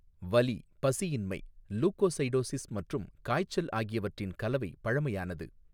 வலி, பசியின்மை, லுகோசைடோசிஸ் மற்றும் காய்ச்சல் ஆகியவற்றின் கலவை பழமையானது.